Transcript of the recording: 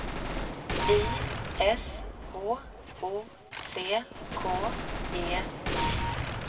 I S H O C K E Y